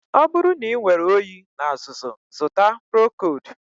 Ọ bụrụ na inwere oyi na azụzụ, zụta Procold